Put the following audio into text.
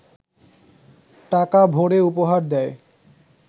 টাকা ভরে উপহার দেয়